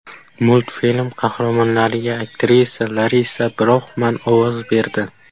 Multfilm qahramonlariga aktrisa Larisa Broxman ovoz berdi.